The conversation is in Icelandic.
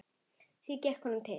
Hvað gekk honum til?